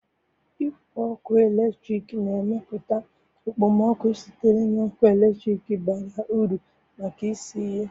Igwe ọkụ eletrik na-emepụta okpomọkụ sitere na ọkụ eletrik bara uru maka isi ihe.